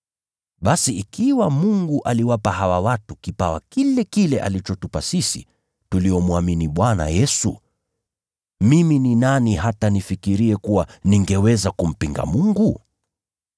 Basi ikiwa Mungu aliwapa hawa watu kipawa kile kile alichotupa sisi tuliomwamini Bwana Yesu Kristo, mimi ni nani hata nifikirie kuwa ningeweza kumpinga Mungu?”